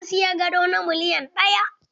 Na siyi gado na miliyan ɗaya.